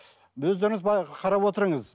өздеріңіз қарап отырыңыз